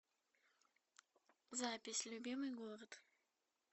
запись любимый город